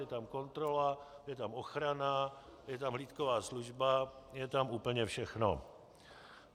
Je tam kontrola, je tam ochrana, je tam hlídková služba, je tam úplně všechno.